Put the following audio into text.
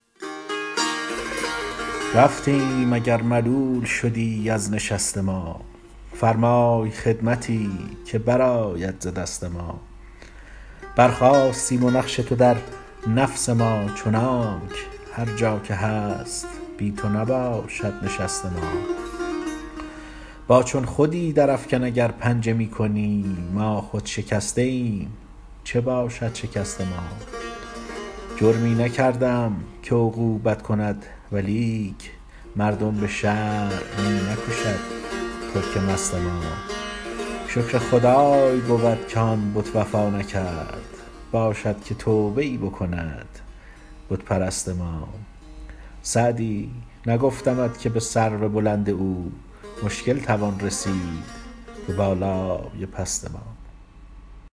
رفتیم اگر ملول شدی از نشست ما فرمای خدمتی که برآید ز دست ما برخاستیم و نقش تو در نفس ما چنانک هر جا که هست بی تو نباشد نشست ما با چون خودی درافکن اگر پنجه می کنی ما خود شکسته ایم چه باشد شکست ما جرمی نکرده ام که عقوبت کند ولیک مردم به شرع می نکشد ترک مست ما شکر خدای بود که آن بت وفا نکرد باشد که توبه ای بکند بت پرست ما سعدی نگفتمت که به سرو بلند او مشکل توان رسید به بالای پست ما